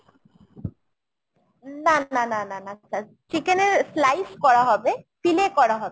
না না না না sir। chicken এর slice করা হবে ফিলে করা হবে।